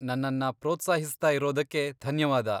ನನ್ನನ್ನ ಪ್ರೋತ್ಸಾಹಿಸ್ತಾ ಇರೋದಕ್ಕೆ ಧನ್ಯವಾದ.